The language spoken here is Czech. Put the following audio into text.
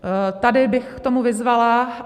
Tady bych k tomu vyzvala.